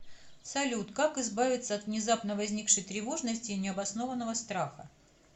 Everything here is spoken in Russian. салют как избавиться от внезапно возникшей тревожности и необоснованного страха